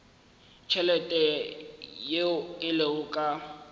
tšhelete yeo e lego ka